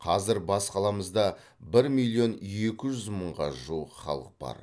қазір бас қаламызда бір миллион екі жүз мыңға жуық халық бар